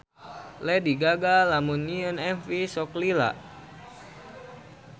Lady Gaga lamun nyieun MV sok lila